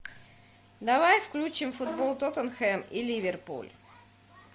давай включим футбол тоттенхэм и ливерпуль